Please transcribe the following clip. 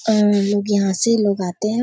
आ लोग यहाँ से लोग आते हैं।